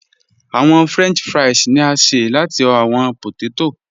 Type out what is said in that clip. Awọn french fries ni a ṣe lati awọn pótètó.